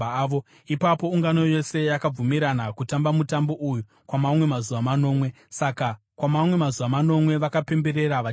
Ipapo ungano yose yakabvumirana kutamba mutambo uyu kwamamwe mazuva manomwe; saka kwamamwe mazuva manomwe vakapemberera vachifara.